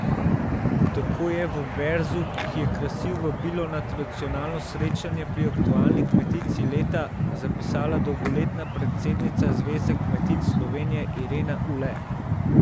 Tako je v verzu, ki je krasil vabilo na tradicionalno srečanje pri aktualni kmetici leta, zapisala dolgoletna predsednica Zveze kmetic Slovenije Irena Ule.